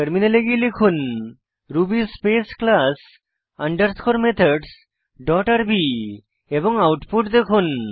টার্মিনালে গিয়ে লিখুন Ruby space class underscore methods dot RB এবং আউটপুট দেখুন